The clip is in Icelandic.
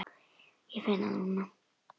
Ég finn það núna.